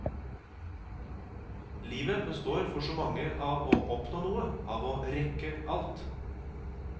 Livet består for så mange av å oppnå noe, av å rekke alt.